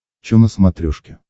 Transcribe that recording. чо на смотрешке